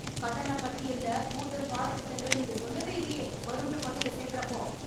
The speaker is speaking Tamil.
கட்டண பட்டியல்ல கூடுதல் பாடத்திட்டங்கள் நீங்க சொல்லவே இல்லையே வரும்னு பள்ளில சேர்கரா அப்போ